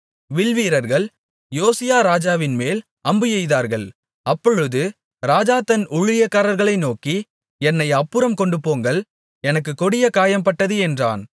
வில்வீரர்கள் யோசியா ராஜாவின்மேல் அம்பு எய்தார்கள் அப்பொழுது ராஜா தன் ஊழியக்காரர்களை நோக்கி என்னை அப்புறம் கொண்டுபோங்கள் எனக்குக் கொடிய காயம்பட்டது என்றான்